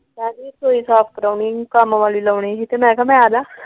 ਆਉਂਦੀ ਰਸੋਈ ਸਾਫ਼ ਕਰਾਨੀ ਸੀ ਕੰਮ ਵਾਲੀ ਲਾਉਣੀ ਸੀ। ਤੇ ਮੈ ਕਿਹਾ ਮੈ ਆਜਾ।